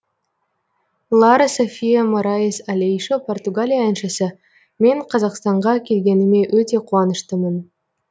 лара софия мораис алейшо португалия әншісі мен қазақстанға келгеніме өте қуаныштымын